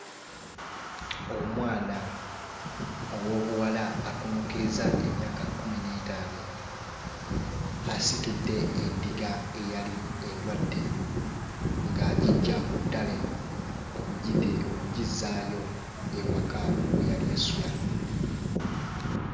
Omwana ow'obuwala akunukkiriza emyaka kkumi n'etaano asitudde endiga ayali endwadde ng'giggya ku ttale okugitee okugizzaayo ewaka we yali esula.